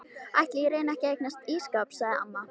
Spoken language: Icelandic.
Ætli ég reyni ekki að eignast ísskáp sagði amma.